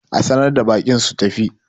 a sanar da baƙin su tafi!